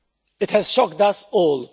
It has shocked us all.